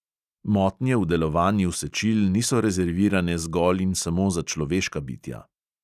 Motnje v delovanju sečil niso rezervirane zgolj in samo za človeška bitja.